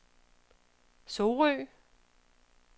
Sorø